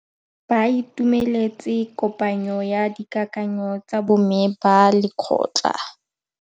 Ba itumeletse kôpanyo ya dikakanyô tsa bo mme ba lekgotla.